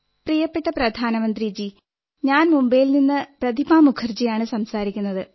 പ്രിയപ്പെട്ട പ്രധാനമന്ത്രിജീ ഞാൻ മുംബൈയിൽ നിന്ന് പ്രതിഭാ മുഖർജിയാണു സംസാരിക്കുന്നത്